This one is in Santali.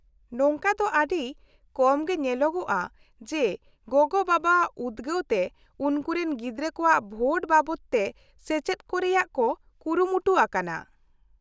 -ᱱᱚᱝᱠᱟ ᱫᱚ ᱟᱹᱰᱤ ᱠᱚᱢ ᱜᱮ ᱧᱮᱞᱚᱜᱼᱟ ᱡᱮ ᱵᱟᱵᱟᱼᱜᱚᱜᱚᱣᱟᱜ ᱩᱫᱜᱟᱹᱣ ᱛᱮ ᱩᱱᱠᱩᱨᱮᱱ ᱜᱤᱫᱽᱨᱟᱹ ᱠᱚᱣᱟᱜ ᱵᱷᱳᱴ ᱵᱟᱵᱚᱫᱛᱮ ᱥᱮᱪᱮᱫ ᱠᱚ ᱨᱮᱭᱟᱜ ᱠᱚ ᱠᱩᱨᱩᱢᱩᱴᱩ ᱟᱠᱟᱱᱟ ᱾